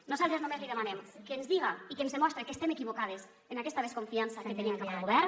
nosaltres només li demanem que ens diga i que ens demostre que estem equivocades en aquesta desconfiança que tenim cap al govern